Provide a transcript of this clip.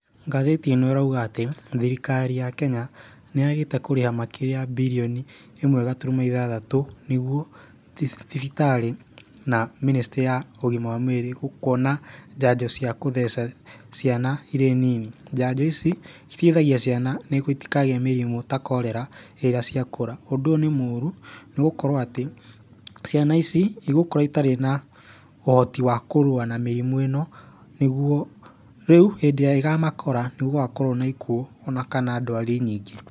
Ngathĩti ĩno ĩrauga atĩ thirikari ya Kenya nĩ yagĩte kũrĩha makĩria ya mbirioni ĩmwe gaturumo ithathatũ nĩguo thibitarĩ na ministry ya ũgima wa mwĩrĩ, ũkona njanjo cia gũtheca ciana irĩ nini. Njanjo ici iteithagia ciana nĩguo itikagĩe mĩrimũ ta Cholera hĩndĩ ĩrĩa ciakũra. Ũndũ ũyũ nĩ mũũru nĩ gũkorwo atĩ ciana ici igũkũra itarĩ na ũhoti wa kũrũa na mĩrimũ ĩno nĩguo rĩu hĩndĩ ĩrĩa ĩkamakora nĩ gũgakorwo na ikuũ o na kana ndwari nyingĩ.